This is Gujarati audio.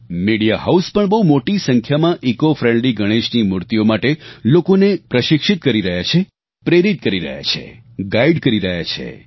મીડિયા હાઉસ પણ બહુ મોટા સંખ્યામાં ઇકોફ્રેન્ડલી ગણેશની મૂર્તિઓ માટે લોકોને પ્રશિક્ષિત કરી રહ્યા છે પ્રેરિત કરી રહ્યા છે ગાઇડ કરી રહ્યા છે